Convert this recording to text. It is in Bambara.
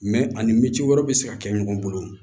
Mɛ ani minti wɛrɛ bɛ se ka kɛ ɲɔgɔn bolo